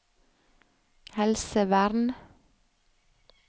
helsevern